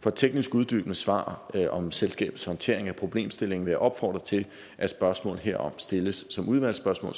for teknisk uddybende svar om selskabets håndtering af problemstillingen vil jeg opfordre til at spørgsmål herom stilles som udvalgsspørgsmål og